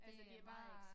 Altså det bare